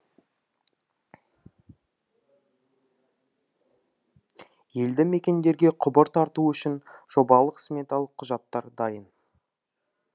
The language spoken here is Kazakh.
елді мекендерге құбыр тарту үшін жобалық сметалық құжаттар дайын